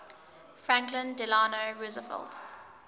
franklin delano roosevelt